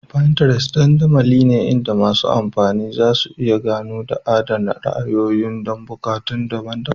Pinterest dandamali ne inda masu amfani zasu iya ganowa da adana ra'ayoyi don buƙatu daban-daban.